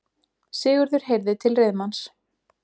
Sigurður heyrði til reiðmanns.